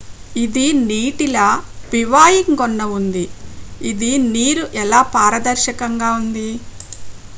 """""""ఇది నీటిలా బివాయింగ్ గొన్న ఉంది. ఇది నీరు ఎలా పారదర్శకంగా ఉంది.""